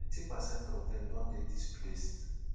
ninety percent of dem don dey displaced.